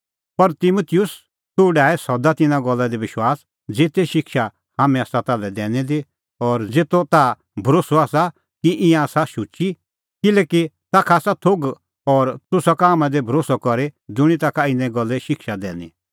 पर तिमुतुस तूह डाहै सदा तिन्नां गल्ला दी विश्वास ज़ेते शिक्षा हाम्हैं आसा ताल्है दैनी दी और ज़ेतो ताह भरोस्सअ आसा कि ईंयां आसा शुची किल्हैकि ताखा आसा थोघ और तूह सका हाम्हां दी भरोस्सअ करी ज़ुंणी ताखा इना गल्ले शिक्षा दैनी